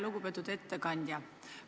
Lugupeetud ettekandja!